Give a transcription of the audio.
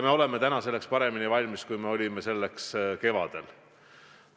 Me oleme sellekski paremini valmis, kui olime kevadel.